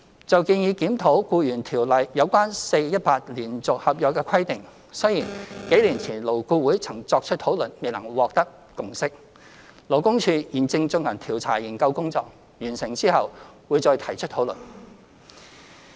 就建議檢討《僱傭條例》有關 4-18 連續性合約的規定，雖然幾年前勞工顧問委員會曾作出討論，但未能獲得共識，勞工處現正進行調查研究工作，在完成後會再提出討論。